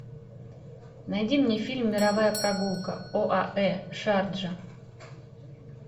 найди мне фильм мировая прогулка оаэ шарджа